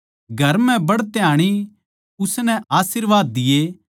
घर म्ह बढ़ते आणी उसनै आशीर्वाद दिए